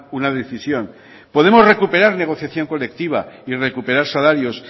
una decisión podemos recuperar negociación colectiva y recuperar salarios